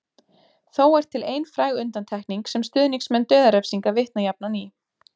Þó er til ein fræg undantekning sem stuðningsmenn dauðarefsinga vitna jafnan í.